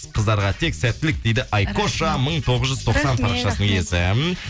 қыздарға тек сәттілік дейді айкоша мың тоғыз жүз тоқсан парақшасының иесі рахмет